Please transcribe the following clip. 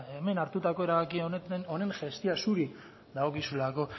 hemen hartutako erabaki honen gestio zuri dagokizulako